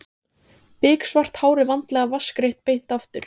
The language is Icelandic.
Biksvart hárið vandlega vatnsgreitt beint aftur.